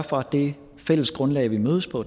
for at det fælles grundlag vi mødes på